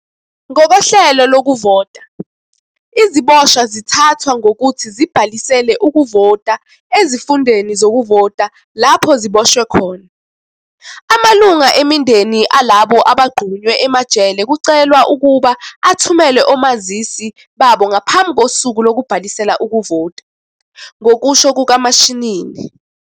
"Ngokohlelo lokuvota, iziboshwa zithathwa ngokuthi zibhalisele ukuvota ezifundeni zokuvota lapho ziboshwe khona. "Amalungu emindeni alabo abagqunywe emajele kucelwa ukuba athumele omazisi babo ngaphambi kosuku lokubhalisela ukuvota," ngokusho kukaMashinini.